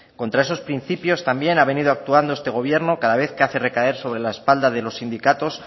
contra esos principios también ha venido actuando este gobierno cada vez que hace recaer sobre la espalda de los sindicatos